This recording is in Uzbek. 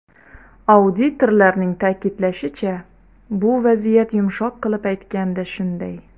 Auditorlarning ta’kidlashicha, bu vaziyat yumshoq qilib aytganda shunday.